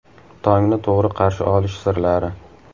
Tongni to‘g‘ri qarshi olish sirlari.